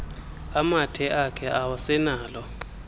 amathe akhe awasenalo